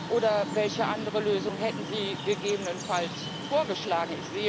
Oder welche andere Lösung hätten Sie gegebenenfalls vorgeschlagen?